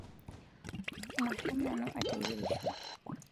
Masham nanu ateyirisho